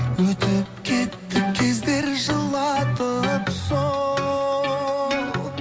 өтіп кетті кездер жылатып сол